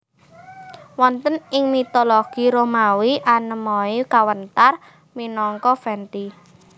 Wonten ing mitologi Romawi Anemoi kawéntar minangka Venti